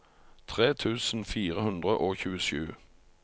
tre tusen fire hundre og tjuesju